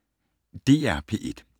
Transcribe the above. DR P1